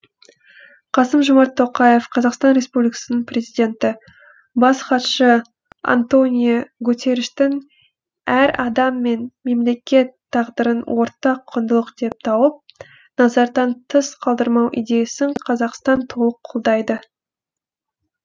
қасым жомарт тоқаев қазақстан республикасының президенті бас хатшы антонио гутерриштің әр адам мен мемлекет тағдырын ортақ құндылық деп тауып назардан тыс қалдырмау идеясын қазақстан толық қолдайды